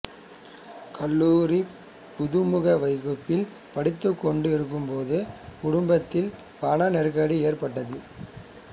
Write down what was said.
கல்லூரிப் புகுமுக வகுப்பில் படித்துக் கொண்டு இருக்கும் போது குடும்பத்தில் பண நெருக்கடி ஏற்பட்டது